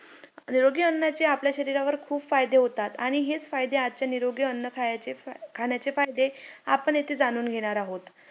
ते नंतर बारावीला पण मी आय biology ह्या विषयात test दिली.तिथं पण मी तिथं पण मला तिथं fee माफ झाली. म्हणून